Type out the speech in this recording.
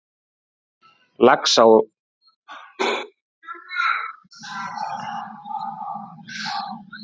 Lágvaxinn prestur kemur fram úr skrúðhúsinu og biður þá að raða blómunum að nýju.